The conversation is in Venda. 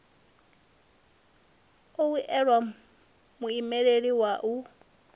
u o elwa muimeleli wa